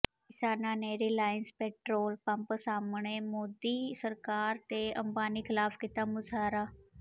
ਕਿਸਾਨਾਂ ਨੇ Reliance petrol pump ਸਾਹਮਣੇ ਮੋਦੀ ਸਰਕਾਰ ਤੇ ਅੰਬਾਨੀ ਖ਼ਿਲਾਫ਼ ਕੀਤਾ ਮੁਜ਼ਾਹਰਾ